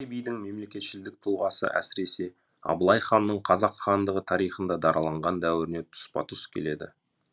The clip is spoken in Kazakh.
бидің мемлекетшілдік тұлғасы әсіресе абылай ханның қазақ хандығы тарихында дараланған дәуіріне тұспа тұс келеді